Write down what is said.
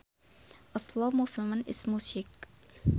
A slow movement in music